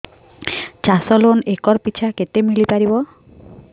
ଚାଷ loan acre ପିଛା କେତେ ମିଳି ପାରିବ